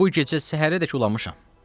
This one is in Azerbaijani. Bu gecə səhərədək ulamışam.